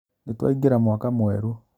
Nĩtwaingĩra mwaka mwerũ